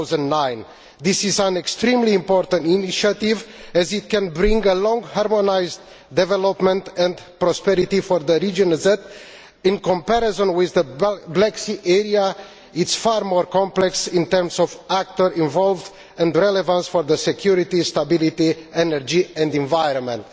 2009. This is an extremely important initiative as it can bring about harmonised development and prosperity for the region that, in comparison with the Black Sea area, is far more complex in terms of actors involved and relevant for security, stability, energy and the environment.